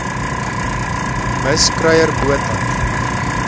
mis kruier botha